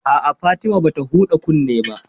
A'a, Fatima bata huɗa kunne ba